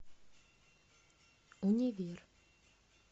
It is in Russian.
универ